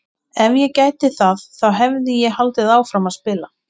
Ef ég gæti það þá hefði ég haldið áfram að spila!